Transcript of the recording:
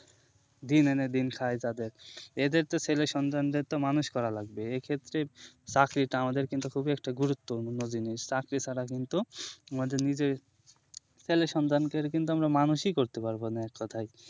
দিন এনে দিন খাই যাদের এদেরতো ছেলে সন্তানদেরতো মানুষ করা লাগবে এক্ষেত্রে চাকরিটা আমাদের কিন্তু খুবই একটা গুরুত্বপূর্ণ জিনিস চাকরি ছাড়া কিন্তু আমাদের নিজের ছেলে সন্তানকে দের মানুষই করতে পারবো না এককথায়